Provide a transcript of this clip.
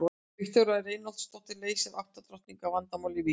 Viktoría Reinholdsdóttir leysti átta drottninga vandamálið í Vík.